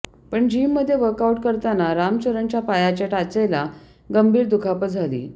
पण जिममध्ये वर्कआऊट करताना रामचरणच्या पायाच्या टाचेला गंभीर दुखापत झाली